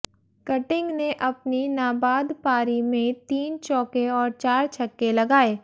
cutting ने अपनी नाबाद पारी में तीन चौके और चार छक्के लगाए